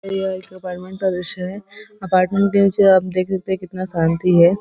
यह एक अपार्टमेंट का दृश्य है अपार्टमेंट के नीचे आप देख सकते है कितना शांति है।